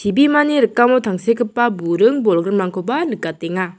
bimani rikamo tangsekgipa buring-bolgrimrangkoba nikatenga.